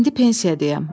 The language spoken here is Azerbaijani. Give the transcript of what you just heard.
İndi pensiyadayım.